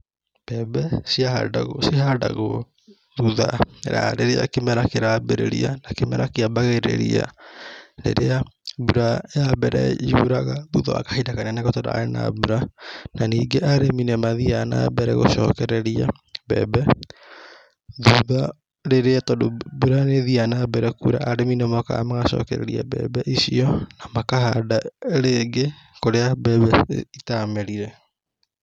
Mbembe ciahandagwo, cihandagwo thutha wa rĩrĩa kĩmera kĩrambĩrĩria na kĩmera kĩambagĩrĩria rĩrĩa mbura ya mbere yuraga, thutha wa kahinda kanene gũtararĩ na mbura. Na ningĩ arĩmi nĩ mathiaga na mbere gũcokereria mbembe, thutha rĩrĩa tondũ mbura nĩthiaga na mbere kura, arĩmi nĩmokaga magacokereria mbembe icio, na makahanda rĩngĩ kũrĩa mbembe itamerire.